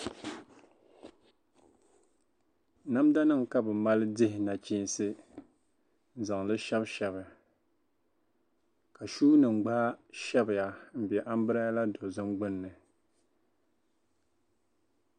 Namdanima ka bɛ mali dihi nachiinsi n-niŋ li shɛbishɛbi ka shuunima gba shɛbiya m-be ambirɛla dozim gbunni.